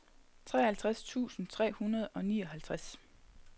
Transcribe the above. treoghalvtreds tusind tre hundrede og nioghalvtreds